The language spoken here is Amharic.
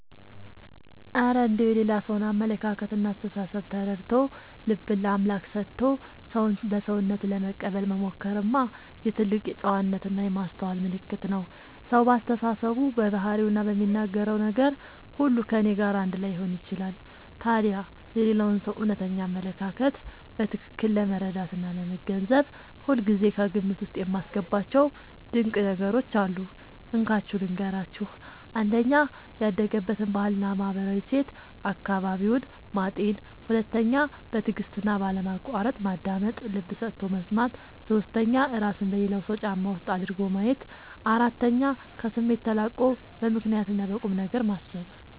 እረ እንደው የሌላ ሰውን አመለካከትና አስተሳሰብ ተረድቶ፣ ልብን ለአምላክ ሰጥቶ ሰውን በሰውነቱ ለመቀበል መሞከርማ የትልቅ ጨዋነትና የማስተዋል ምልክት ነው! ሰው በአስተሳሰቡ፣ በባህሪውና በሚናገረው ነገር ሁሉ ከእኔ ጋር አንድ ላይሆን ይችላል። ታዲያ የሌላውን ሰው እውነተኛ አመለካከት በትክክል ለመረዳትና ለመገንዘብ ሁልጊዜ ከግምት ውስጥ የማስገባቸው ድንቅ ነገሮች አሉ፤ እንካችሁ ልንገራችሁ - 1. ያደገበትን ባህልና ማህበራዊ እሴት (አካባቢውን) ማጤን 2. በትዕግስትና ባለማቋረጥ ማዳመጥ (ልብ ሰጥቶ መስማት) 3. እራስን በሌላው ሰው ጫማ ውስጥ አድርጎ ማየት 4. ከስሜት ተላቆ በምክንያትና በቁምነገር ማሰብ